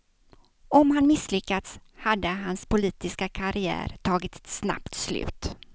Om han misslyckats, hade hans politiska karriär tagit ett snabbt slut.